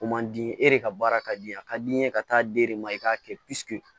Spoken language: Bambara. O man di e de ka baara ka di ye a ka di n ye ka taa di e de ma i k'a kɛ